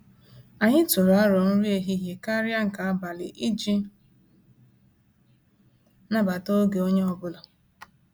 Anyị tụrụ arọ nri ehihie karịa nke abali iji nabata oge onye ọbụla